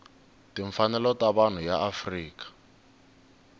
timfanelo ta vanhu ya afrika